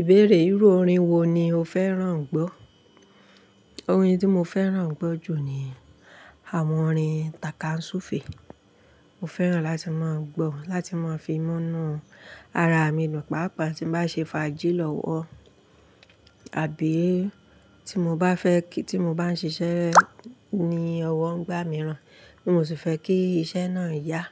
Ìbéèrè ìrú orin wo ni o fẹ́ràn gbọ́? Orin tí mo fẹ́ràn gbọ́ jù ni àwọn orin Taka Sufe. Mo fẹ́ràn láti máa gbọ́, wọn láti máa fi mú inú ara mi dùn. Pàápàá tín bá ń ṣe fàájì lọ́wọ́, àbí tí mo bá ń ṣiṣẹ́ ní ọwọ́ nígbà míràn, tí mo sì fẹ́ kí iṣẹ́ náà yá,